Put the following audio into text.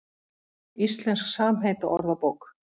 Íslensk samheitaorðabók.